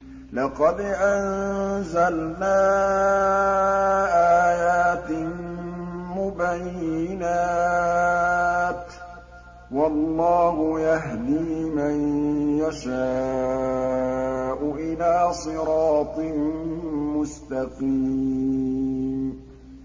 لَّقَدْ أَنزَلْنَا آيَاتٍ مُّبَيِّنَاتٍ ۚ وَاللَّهُ يَهْدِي مَن يَشَاءُ إِلَىٰ صِرَاطٍ مُّسْتَقِيمٍ